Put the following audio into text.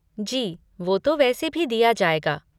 जी, वो तो वैसे भी दिया जाएगा।